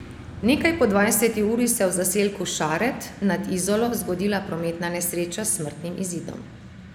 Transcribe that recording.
Nekaj po dvajseti uri se je v zaselku Šared nad Izolo zgodila prometna nesreča s smrtnim izidom.